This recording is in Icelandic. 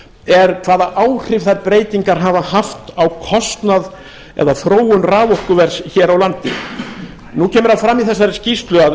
er hvaða áhrif þær breytingar hafa haft á kostnað eða þróun raforkuverðs hér á landi nú kemur það fram í þessari skýrslu að